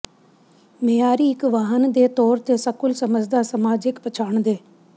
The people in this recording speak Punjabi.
ਮਿਆਰੀ ਇੱਕ ਵਾਹਨ ਦੇ ਤੌਰ ਤੇ ਸਕੂਲ ਸਮਝਦਾ ਸਮਾਜਿਕ ਪਛਾਣ ਦੇ